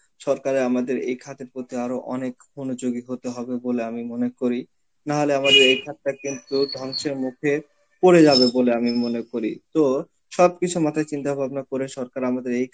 সরকারের আমাদের এই খাতের প্রতি আরো অনেক মনোযোগী হতে হবে বলে আমি মনে করি. না হলে আমাদের এই খাতটা কিন্তু ধ্বংসের মুখে পরে যাবে বলে আমি মনে করি. তো সবকিছু মাথায় চিন্তা ভাবনা করে সরকার আমাদের এই